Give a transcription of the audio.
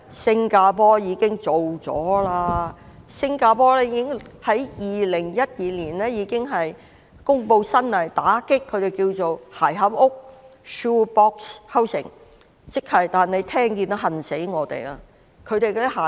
新加坡早於2012年已經公布新法例打擊"鞋盒屋"，聽到也令我們羨慕。